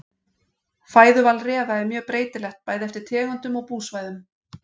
Fæðuval refa er mjög breytilegt bæði eftir tegundum og búsvæðum.